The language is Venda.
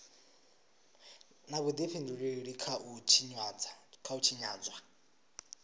na vhudifhinduleli kha u tshinyadzwa